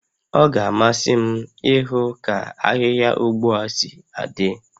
Ọ ga-amasị m ịhụ ka ahịhịa ụgha si adị